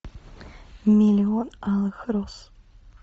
миллион алых роз